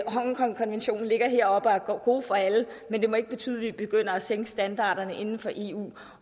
hongkongkonventionen ligger heroppe og er god for alle men det må ikke betyde at vi begynder at sænke standarderne inden for eu